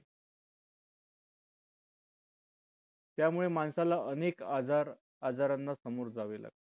त्यामुळे माणसाला अनेक आजार आजारांना सामोरे जावे लागते